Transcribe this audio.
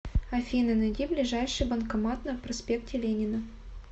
афина найди ближайший банкомат на проспекте ленина